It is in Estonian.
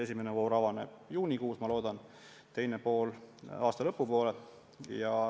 Esimene voor avaneb juunikuus, ma loodan, ja teine pool aasta lõpu poole.